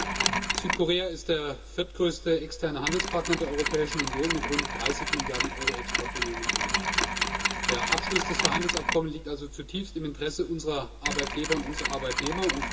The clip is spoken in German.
Herr Präsident! Südkorea ist der viertgrößte externe Handelspartner der Europäischen Union mit rund 30 Mrd. EUR Exportvolumen im Jahr. Der Abschluss des Freihandelsabkommens liegt also zutiefst im Interesse unserer Arbeitgeber und unserer Arbeitnehmer.